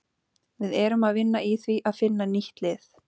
Við erum að vinna í því að finna nýtt lið.